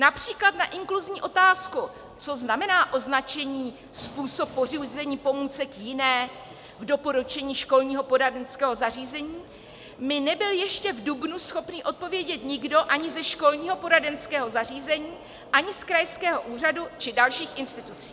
Například na inkluzní otázku, co znamená označení "způsob pořízení pomůcek jiné v doporučení školního poradenského zařízení" mi nebyl ještě v dubnu schopný odpovědět nikdo ani ze školního poradenského zařízení, ani z krajského úřadu či dalších institucí.